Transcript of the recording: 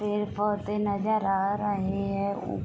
पेड़ पौधे नजर आ रहे है।